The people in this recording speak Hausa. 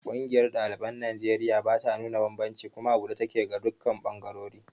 Ƙungiyar ɗaliban Najeriya bata nuna banbanci kuma a buɗe take ga dukkan ɓangarori.